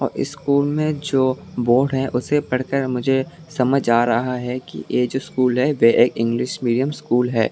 School में जो board है उसे पढ़ कर मुझे समझ आ रहा है कि ये जो स्कूल वे एक इंग्लिश मीडियम स्कूल है।